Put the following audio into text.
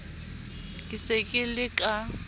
ke se ke le ka